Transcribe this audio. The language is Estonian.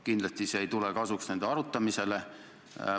Kindlasti ei tule see kasuks nende arutamisele.